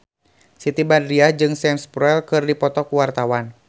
Siti Badriah jeung Sam Spruell keur dipoto ku wartawan